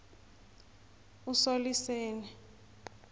usoliseni